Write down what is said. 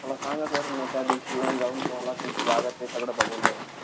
मला सांगा sir मी त्यादिवशी येऊन-जाऊन तुम्हाला तुमची जागा ते सगळं बघून जाईन.